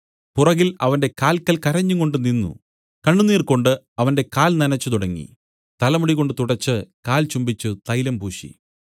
പുറകിൽ അവന്റെ കാല്ക്കൽ കരഞ്ഞുകൊണ്ട് നിന്നു കണ്ണുനീർകൊണ്ട് അവന്റെ കാൽ നനച്ചുതുടങ്ങി തലമുടികൊണ്ട് തുടച്ച് കാൽ ചുംബിച്ചു തൈലം പൂശി